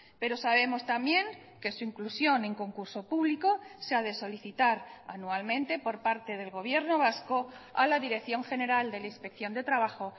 pero sabemos también que su inclusión en concurso público se ha de solicitar anualmente por parte del gobierno vasco a la dirección general de la inspección de trabajo